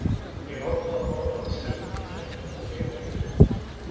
Ég ákvað að borða aðeins helminginn af eplinu og geyma hinn helminginn.